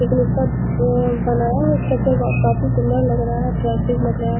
लेकिन इसका अ बनाया हुआ स्ट्रक्चर ब काफी सुन्दर लग रहा है अट्रैक्टिव लग रहा है।